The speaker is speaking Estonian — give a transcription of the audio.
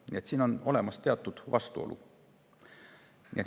Nii et siin on teatud vastuolu.